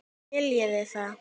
Skiljiði það?